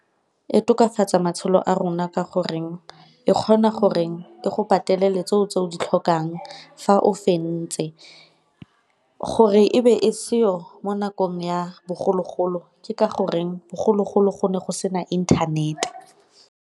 E tokafatsa matshelo a rona ka goreng e kgona goreng e go ipatelele tse o tse o di tlhokang fa o fentse, gore e be e seo mo nakong ya bogologolo ke ka goreng bogologolo go ne go sena inthanete.